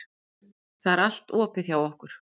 Það er allt opið hjá okkur.